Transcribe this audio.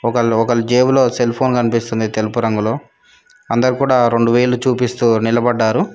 ఒక లోకల్ జేబులో సెల్ఫోన్ కనిపిస్తుంది తెలుపు రంగులో అందరు కూడా రొండు వేళ్ళు చూపిస్తూ నిలబడ్డారు.